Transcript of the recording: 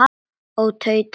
Ó, tauta ég óróleg.